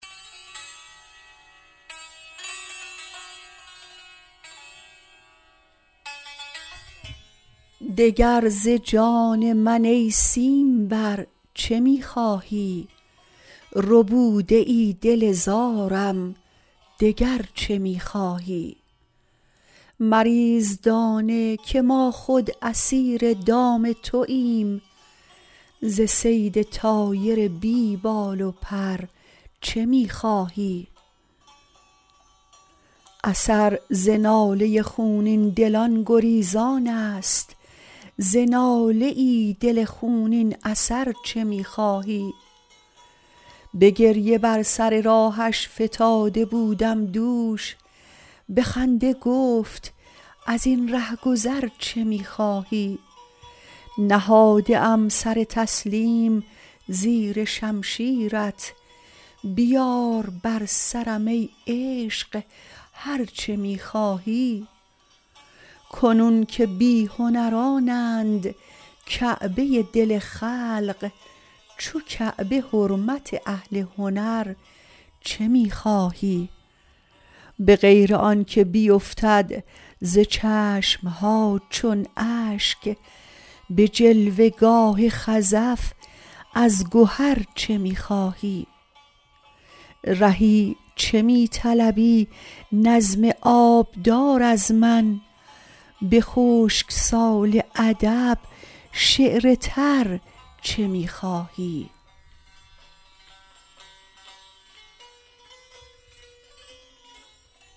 دگر ز جان من ای سیم بر چه می خواهی ربوده ای دل زارم دگر چه می خواهی مریز دانه که ما خود اسیر دام توایم ز صید طایر بی بال و پر چه می خواهی اثر ز ناله خونین دلان گریزان است ز ناله ای دل خونین اثر چه می خواهی به گریه بر سر راهش فتاده بودم دوش به خنده گفت از این رهگذر چه می خواهی نهاده ام سر تسلیم زیر شمشیرت بیار بر سرم ای عشق هرچه می خواهی کنون که بی هنرانند کعبه دل خلق چو کعبه حرمت اهل هنر چه می خواهی به غیر آن که بیفتد ز چشم ها چون اشک به جلوه گاه خزف از گهر چه می خواهی رهی چه می طلبی نظم آبدار از من به خشک سال ادب شعر تر چه می خواهی